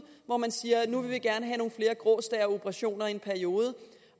hvor man siger at nu vil man gerne have nogle flere grå stær operationer i en periode